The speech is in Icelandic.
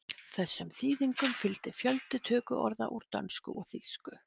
Þessum þýðingum fylgdi fjöldi tökuorða úr dönsku og þýsku.